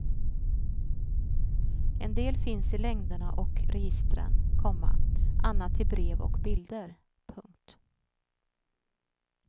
En del finns i längderna och registren, komma annat i brev och bilder. punkt